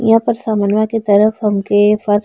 यहाँ पर समनवा के तरफ हम --